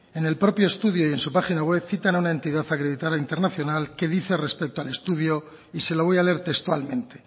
en el propio estudio y en su página web cita a una entidad acreditada internacional que dice al respeto al estudio y se lo voy a leer textualmente